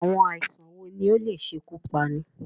Àwọn àìsàn wo ni ó lè ṣekú pani?